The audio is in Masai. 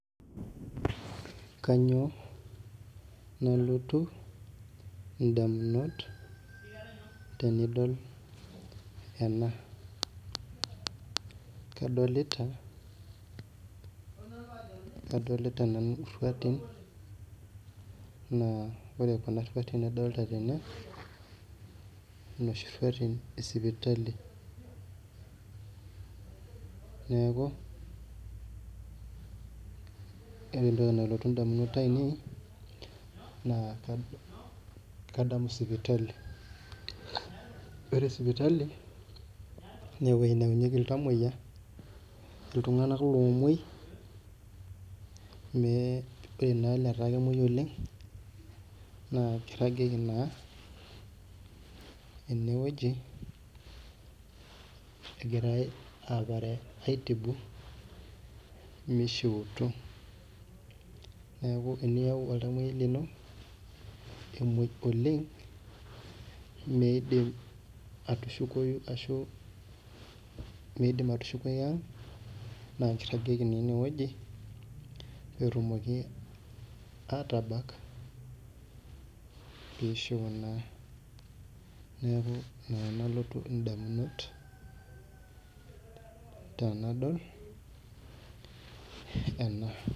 Kanyio nalotu ndamunot tenidol ena kedolita kadolita nanu irautin na ore kuna ruatin nadolita tene na noshi ruatin esipitali neaku ore entoki nalotu ndamunot ainei na kadamu sipitali ore sipitali na ewoi nayaunyeki iltamoyia ltunganak omoi ore olataa kemwoi oleng na kiragieki na enewueji egirai aapare mishiuti neaku teniyau oltamoyiai lino emoi oleng midim atishukoi aang na kiragieki enewueji petumoki atabak pishiu naa neaku ina nalotu ndamunot tanadol ena.